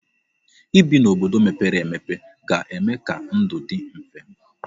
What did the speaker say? Ibi n'obodo mepere emepe ga-eme ka ndụ dị mfe.